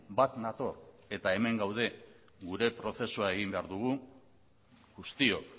bat nator eta hemen gaude gure prozesua egin behar dugu guztiok